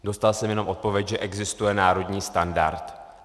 Dostal jsem jenom odpověď, že existuje národní standard.